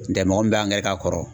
N tɛ mɔgɔ min b'an gɛn ka kɔrɔ